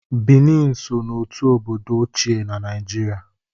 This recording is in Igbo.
Bini so n'otu obodo ochie Naijiria